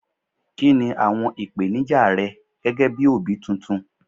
kini awọn ipenija rẹ gẹgẹ bí obi titun